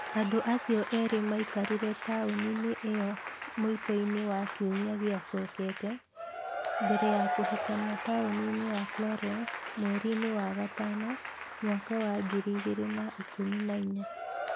Andũ acio erĩ maikarire taũni-inĩ ĩyo mũico-inĩ wa kiumia gĩacookete. Mbere ya kũhikania taũni-inĩ ya Florence mweri-inĩ wa gatano mwaka wa 2014.